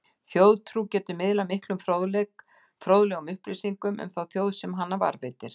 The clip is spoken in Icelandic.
Þjóðtrú getur miðlað miklum og fróðlegum upplýsingum um þá þjóð sem hana varðveitir.